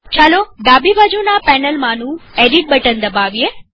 ચાલો ડાબી બાજુના પેનલમાંનું એડિટ બટન દબાવીએ